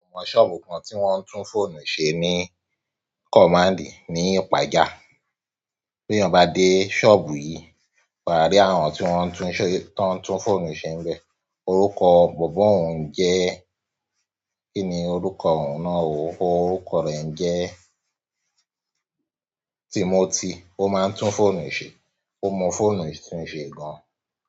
Àwọn sọọbu kan ti wọn n tun phone se ni komandi ni ipaja. Bí èèyàn bá dé sọ́ọ̀bù yìí, wa rí àwọn tí wọ́n ń tún fóònù ṣe nbẹ́ẹ̀. Orúkọ bọbọ n jẹ́. Kíni orúkọ òun náà ó? Orúkọ rẹ̀ ń jẹ́ Timoti, ó máa ń tún fóònù ṣe, ó mọ fóònù tun ṣe gan.